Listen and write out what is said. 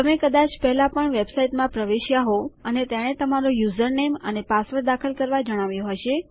તમે કદાચ પહેલા પણ વેબસાઈટમાં પ્રવેશ્યા હોવ અને તેણે તમારું યુઝરનેમ અને પાસવર્ડ દાખલ કરવા જણાવ્યું હશે